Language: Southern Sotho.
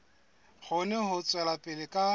kgone ho tswela pele ka